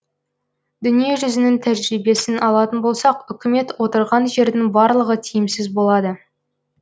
дүние жүзінің тәжірибесін алатын болсақ үкімет отырған жердің барлығы тиімсіз болады